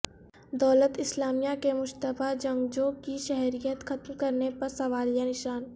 دولت اسلامیہ کے مشتبہ جنگجو کی شہریت ختم کرنے پر سوالیہ نشان